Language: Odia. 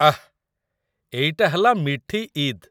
ଆଃ! ଏଇଟା ହେଲା 'ମିଠି ଇଦ୍‌' ।